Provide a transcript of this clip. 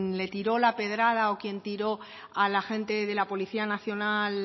le tiró la pedrada o quien tiró al agente de la policía nacional